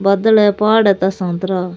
बादल है पहाड़ है इता सातरा --